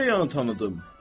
Necə yanı tanıdım?